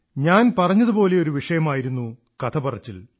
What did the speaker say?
ഞാൻ പറഞ്ഞതുപോലെയൊരു വിഷയമായിരുന്ന കഥപറച്ചിൽ